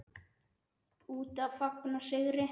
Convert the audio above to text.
Úti að fagna sigri.